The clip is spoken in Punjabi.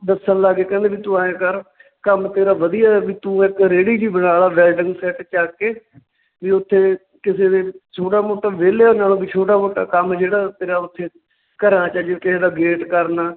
ਦੱਸਣ ਲੱਗ ਗਏ ਕਹਿੰਦੇ ਵੀ ਤੂੰ ਆਂਏ ਕਰ ਕੰਮ ਤੇਰਾ ਵਧੀਆ ਆ ਵੀ ਤੂੰ ਇੱਕ ਰੇੜੀ ਜਿਹੀ ਬਣਾ ਲਾ ਵੈਲਡਿੰਗ set ਚੱਕ ਕੇ ਵੀ ਇੱਥੇ ਕਿਸੇ ਦੇ ਛੋਟਾ ਮੋਟਾ ਵਿਹਲਿਆਂ ਨਾਲੋਂ ਵੀ ਛੋਟਾ ਮੋਟਾ ਕੰਮ ਜਿਹੜਾ ਤੇਰਾ ਓਥੇ ਘਰਾਂ 'ਚ ਜਿਵੇਂ ਕਿਸੇ ਦਾ gate ਕਰਨਾ